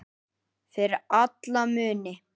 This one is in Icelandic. Fyrir alla muni.